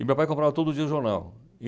E meu pai comprava todo dia jornal.